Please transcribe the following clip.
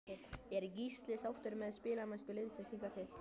Er Gísli sáttur með spilamennsku liðsins hingað til?